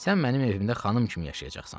Sən mənim evimdə xanım kimi yaşayacaqsan.